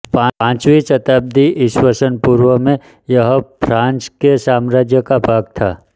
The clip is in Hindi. पाँचवीं शताब्दी ई पू में यह फ़ारस के साम्राज्य का भाग था